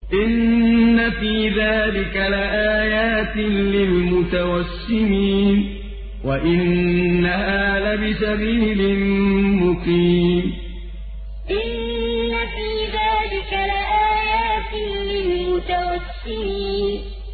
إِنَّ فِي ذَٰلِكَ لَآيَاتٍ لِّلْمُتَوَسِّمِينَ إِنَّ فِي ذَٰلِكَ لَآيَاتٍ لِّلْمُتَوَسِّمِينَ